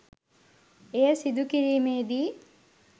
එය සිදු කිරීමේදී